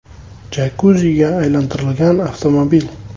jakuziga aylantirilgan avtomobil.